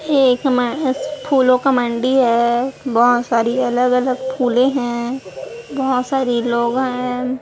ये एक में अस फूलों का मंडी है बहोत सारी अलग अलग फूलें हैं बहोत सारी लोग हैं।